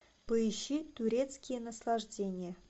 поищи турецкие наслаждения